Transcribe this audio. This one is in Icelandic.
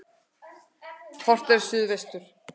Horft er til suðvesturs.